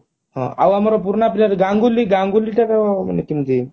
ଆଉ ଆମର ପୁରୁଣା player ଗାଙ୍ଗୁଲୀ ଗାଙ୍ଗୁଲୀ ତାର ମାନେ କେମିତି